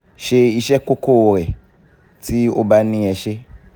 ṣe iṣẹ́ kókó rẹ ti o ba ní i ẹ ṣé